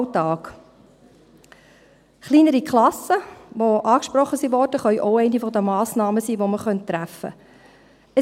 Auch die angesprochenen kleineren Klassen könnten eine der Massnahmen sein, die man treffen könnte.